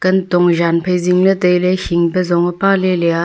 kan tong zan phai sing ley tai ley shik pe zong e pa ley lea.